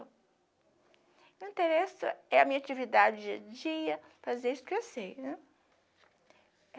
O que me interessa é a minha atividade dia a dia, fazer isso que eu sei, né?